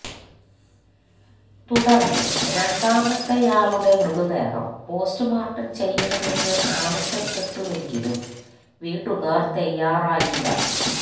തുടര്ന്ന് രണ്ടാമത്തെയാളുടെ മൃതദേഹം പോസ്റ്റ് മോര്ട്ടം ചെയ്യണമെന്ന് ആവശ്യപ്പെട്ടുവെങ്കിലും വീട്ടുകാര് തയ്യാറായില്ല